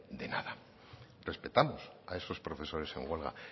de nada respetamos a esos profesores en huelga